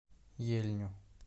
ельню